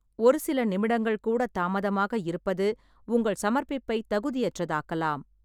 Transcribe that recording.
ஒரு சில நிமிடங்கள் கூட தாமதமாக இருப்பது உங்கள் சமர்ப்பிப்பை தகுதியற்றதாக்கலாம்.